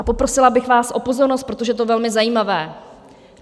A poprosila bych vás o pozornost, protože to je velmi zajímavé.